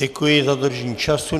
Děkuji za dodržení času.